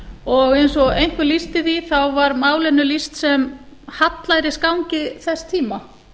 og eins og einhver lýsti því þá var málinu lýst sem hallærisgangi þess tíma